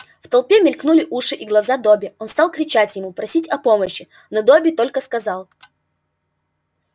в толпе мелькнули уши и глаза добби он стал кричать ему просить о помощи но добби только сказал